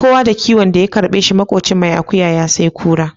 Kowa da kiwon da ya karɓe shi, maƙocin mai akuya ya sai kura.